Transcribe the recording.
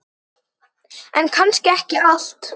En kannski ekki allt.